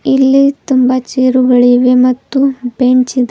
ಇಲ್ಲಿ ತುಂಬಾ ಚೇರುಗಳಿವೆ ಮತ್ತು ಬೆಂಚ್ ಇದೆ.